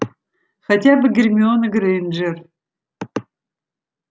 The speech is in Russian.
хотя бы гермиона грэйнджер